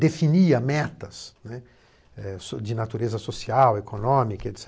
Definia metas, né, de natureza social, econômica, et cetera.